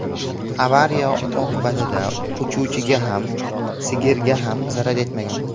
Avariya oqibatida uchuvchiga ham, sigirga ham zarar yetmagan.